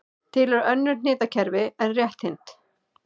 Til eru önnur hnitakerfi en rétthyrnd.